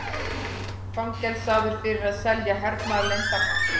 Fangelsaður fyrir að selja hernaðarleyndarmál